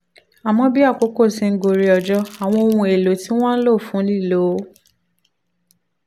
àmọ́ bí àkókò ti ń gorí ọjọ́ àwọn ohun èlò tí wọ́n ń lò fún lílo